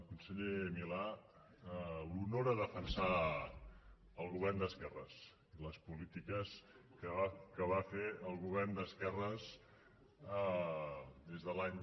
conseller milà l’honora defensar el govern d’esquerres les polítiques que va fer el govern d’esquerres des de l’any